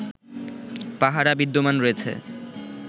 পাহারা বিদ্যমান রয়েছে